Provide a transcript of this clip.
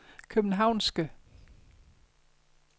københavnske